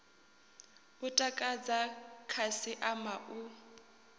u takadza khasi ama u